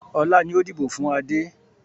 Ọlá ni ó dìbò fun Adé.